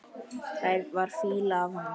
Það var fýla af honum.